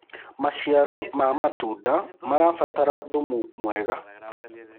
maciaro ma matunda marabatara thumu mwega